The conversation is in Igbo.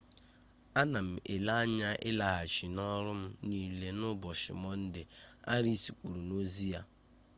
ana m ele anya ịlaghachi n'ọrụ m niile n'ụbọchị mọnde arịas kwuru n'ozi ya